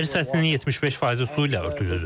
Yüksək hissəsi su ilə örtülüdür.